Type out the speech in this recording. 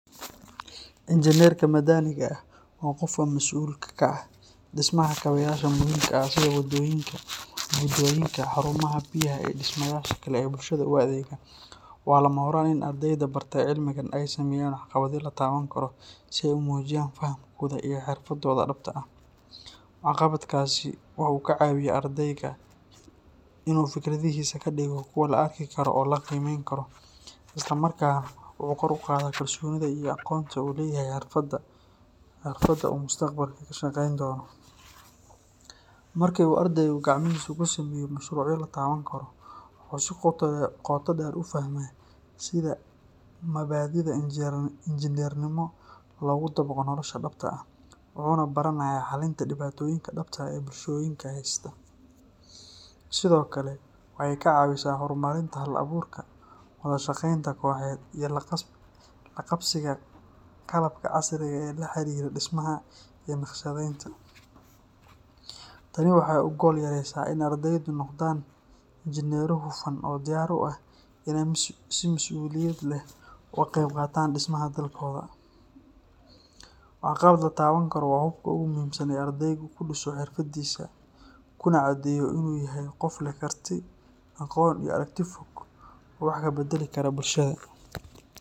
Injineerka madaniga ah waa qofka mas’uulka ka ah dhismaha kaabeyaasha muhiimka ah sida wadooyinka, buundooyinka, xarumaha biyaha, iyo dhismayaasha kale ee bulshada u adeega. Waa lama huraan in ardeyda bartay cilmigan ay sameeyaan waxqabadyo la taaban karo si ay u muujiyaan fahamkooda iyo xirfadooda dhabta ah. Waxqabadkaasi waxa uu ka caawinayaa ardayga in uu fikradihiisa ka dhigo kuwo la arki karo oo la qiimeyn karo, isla markaana wuxuu kor u qaadaa kalsoonida iyo aqoonta uu u leeyahay xirfadda uu mustaqbalka ka shaqeyn doono. Markii uu ardaygu gacmihiisa ku sameeyo mashruucyo la taaban karo, wuxuu si qoto dheer u fahmaa sida mabaadi’da injineernimo loogu dabaqo nolosha dhabta ah, wuxuuna baranayaa xalinta dhibaatooyinka dhabta ah ee bulshooyinka haysta. Sidoo kale, waxay ka caawisaa horumarinta hal-abuurka, wada shaqeynta kooxeed, iyo la qabsiga qalabka casriga ah ee la xiriira dhismaha iyo naqshadeynta. Tani waxay u gogol xaareysaa in ardeydu noqdaan injineero hufan oo diyaar u ah inay si mas’uuliyad leh uga qeyb qaataan dhismaha dalkooda. Waxqabad la taaban karo waa hubka ugu muhiimsan ee ardaygu ku dhiso xirfadiisa, kuna caddeeyo in uu yahay qof leh karti, aqoon iyo aragti fog oo wax ka beddeli kara bulshada.